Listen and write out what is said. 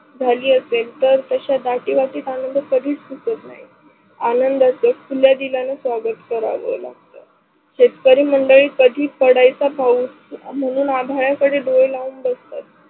झाली असेल तर तशा दाटी वाटीत आनंद कधीच तुटत नाही. आनंदाचे खुल्या दिलान स्वागत करावे लागत. शेतकरी मंडळी कधी पडायचा पाऊस म्हणून आभाडा कडे डोळे लाऊन बसतात.